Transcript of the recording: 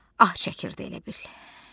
Ah çəkirdi elə bil.